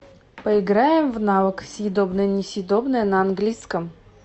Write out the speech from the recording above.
поиграем в навык съедобное несъедобное на английском